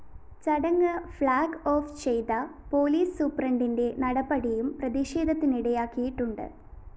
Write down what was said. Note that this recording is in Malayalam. ചടങ്ങ്‌ ഫ്ലാഗ്‌ ഓഫ്‌ ചെയ്ത പോലീസ്‌ സൂപ്രണ്ടിന്റെ നടപടിയും പ്രതിഷേധത്തിനിടയാക്കിയിട്ടുണ്ട്‌